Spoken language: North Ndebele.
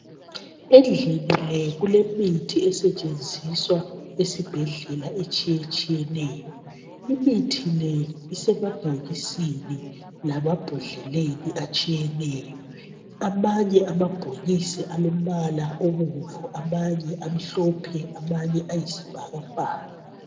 Endlini le kule mithi esetshenziswa esibhedlela etshiyetshiyeneyo . Imithi le isemabhokisini lamabhodleleni atshiyeneyo. Amanye amabhokisi alombala obomvu, amanye amhlophe amanye ayisibhakabhaka .